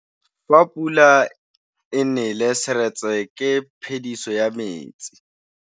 Fa pula e nelê serêtsê ke phêdisô ya metsi.